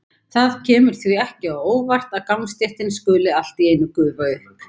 Það kemur því ekki á óvart að gangstéttin skuli allt í einu gufa upp.